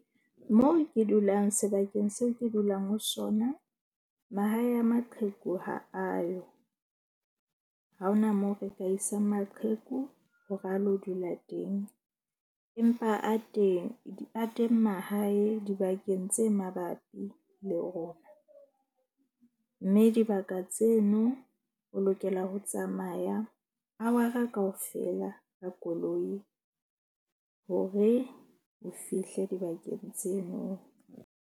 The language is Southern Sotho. Moo ke dulang sebakeng seo ke dulang ho sona. Mahae a maqheku ha ayo ha hona moo re ka isang maqheku hore a lo dula teng. Empa a teng mahae dibakeng tse mabapi le rona. Mme dibaka tseno o lokela ho tsamaya hour-a kaofela ka koloi hore o fihle dibakeng tseno.